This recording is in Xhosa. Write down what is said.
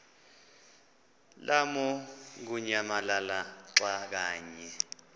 lamukunyamalala xa kanye